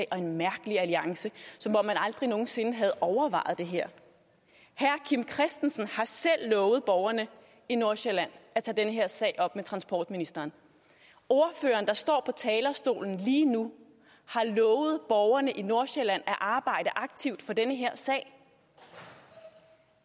og en mærkelig alliance som om man aldrig nogen sinde havde overvejet det her herre kim christiansen har selv lovet borgerne i nordsjælland at tage den her sag op med transportministeren ordføreren der står på talerstolen lige nu har lovet borgerne i nordsjælland at arbejde aktivt for den her sag